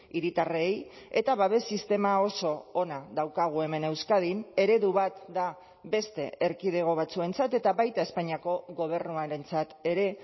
hiritarrei eta babes sistema oso ona daukagu hemen euskadin eredu bat da beste erkidego batzuentzat eta baita espainiako gobernuarentzat ere